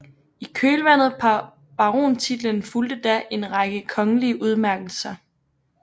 I kølvandet på barontitlen fulgte da en række kongelige udmærkselser